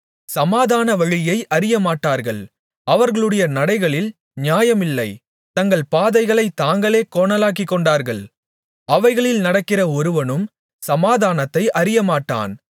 சமாதான வழியை அறியமாட்டார்கள் அவர்களுடைய நடைகளில் நியாயமில்லை தங்கள் பாதைகளைத் தாங்களே கோணலாக்கிக்கொண்டார்கள் அவைகளில் நடக்கிற ஒருவனும் சமாதானத்தை அறியமாட்டான்